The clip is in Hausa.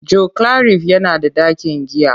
Joclarif yana da ɗakin giya.